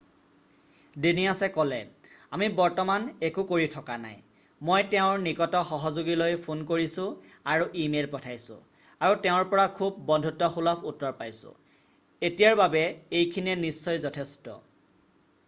ডেনিয়াছে ক'লে আমি বৰ্তমান একো কৰি থকা নাই মই তেওঁৰ নিকট সহযোগীলৈ ফোন কৰিছোঁ আৰু ইমেইল পঠাইছোঁ আৰু তেওঁৰ পৰা খুব বন্ধুত্বসুলভ উত্তৰ পাইছোঁ এতিয়াৰ বাবে এইখিনিয়ে নিশ্চয় যথেষ্ট